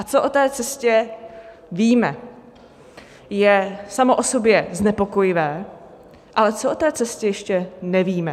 A co o té cestě víme, je samo o sobě znepokojivé, ale co o té cestě ještě nevíme?